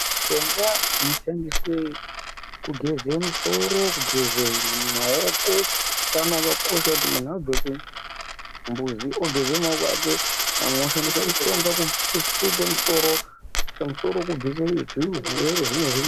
Mishonga inoshandiswa kugeze musoro, kugeze maoko, utano hwakakoshasha kuti muntu abve kuchimbuzi ogeza maoko ake amwe oshandisa mushonga kusuke musoro kubvise zvimwe zvirwere .